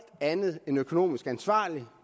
andet end økonomisk ansvarlig